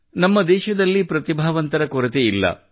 ನಮ್ಮ ದೇಶದಲ್ಲಿ ಪ್ರತಿಭಾವಂತರ ಕೊರತೆ ಇಲ್ಲ